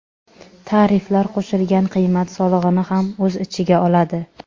Tariflar qo‘shilgan qiymat solig‘ini ham o‘z ichiga oladi.